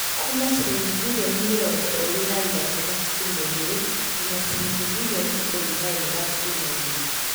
Kuuma ciringi mbirioni mĩrongo ĩrĩ na ithatũ gaturumo igĩrĩ nginya ciringi mbirioni ikũmi na ĩmwe gaturumo igĩrĩ .